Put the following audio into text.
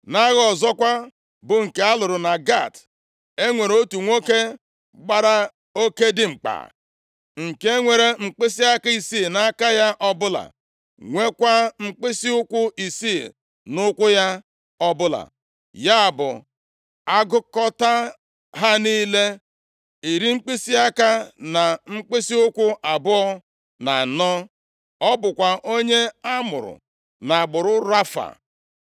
Nʼagha ọzọkwa, bụ nke a lụrụ na Gat, e nwere otu nwoke gbara oke dimkpa, nke nwere mkpịsịaka isii nʼaka ya ọbụla, nweekwa mkpịsịụkwụ isii nʼụkwụ ya ọbụla, ya bụ, a gụkọtaa ha niile, iri mkpịsịaka na mkpịsịụkwụ abụọ na anọ. Ọ bụkwa onye amụrụ nʼagbụrụ Rafa.